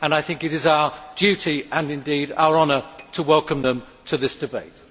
I think it is our duty, and indeed our honour, to welcome them to this debate.